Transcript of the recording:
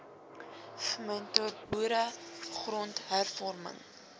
v mentorboere grondhervorming